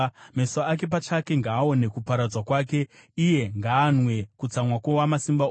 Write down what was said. Meso ake pachake ngaaone kuparadzwa kwake; iye ngaanwe kutsamwa kwoWamasimba Ose.